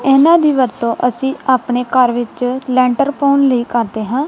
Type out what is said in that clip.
ਇਹਨਾਂ ਦੀ ਵਰਤੋਂ ਅਸੀ ਆਪਣੇ ਘਰ ਵਿੱਚ ਲੈਂਟਰ ਪਾਉਣ ਲਈ ਕਰਦੇ ਹਾਂ।